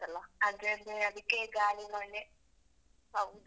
ಅದೆ. ಅದೆ ಅದೆ ಅದ್ಕೇ ಗಾಳಿ ಮಳೆ. ಹೌದು.